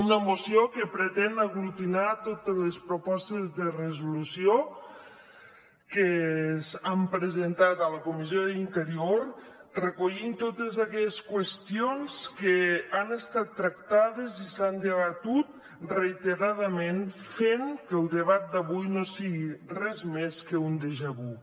una moció que pretén aglutinar totes les propostes de resolució que han presentat a la comissió d’interior recollint totes aquelles qüestions que han estat tractades i s’han debatut reiteradament fent que el debat d’avui no sigui res més que un déjà vu